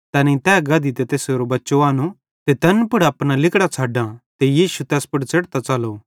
तैनेईं तै गधी ते तैसारो बच्चो आनो ते तैन पुड़ अपना लिगड़ां छ़डां ते यीशु तैस पुड़ च़ेढ़तां च़लो